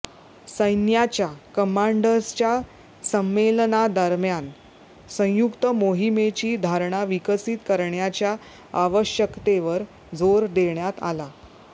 सैन्याच्या कमांडर्सच्या संमेलनादरम्यान संयुक्त मोहिमेची धारणा विकसित करण्याच्या आवश्यकतेवर जोर देण्यात आला